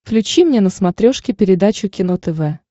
включи мне на смотрешке передачу кино тв